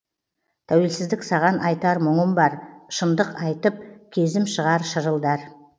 тәуелсіздік саған айтар мұңым бар шыңдық айтып кезім шығар шырылдар